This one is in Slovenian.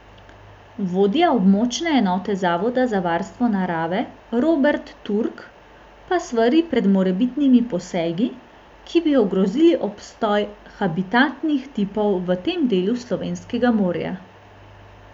Vodja območne enote zavoda za varstvo narave Robert Turk pa svari pred morebitnimi posegi, ki bi ogrozili obstoj habitatnih tipov v tem delu slovenskega morja.